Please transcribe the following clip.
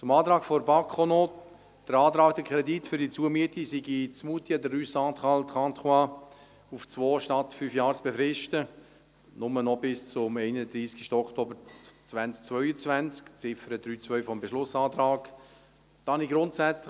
Noch zum Antrag der BaK, wonach der beantragte Kredit für die Zumiete in Moutier an der Rue Centrale 33 auf zwei statt auf fünf Jahre zu befristen sei, also gemäss Ziffer 2 des Beschlussantrags nur noch bis zum 31. Oktober 2022.